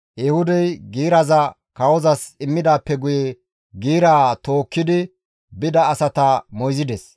Ehuudey giiraza kawozas immidaappe guye giiraa tookkidi bida asata moyzides.